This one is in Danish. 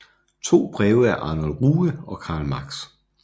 To breve af Arnold Ruge og Karl Marx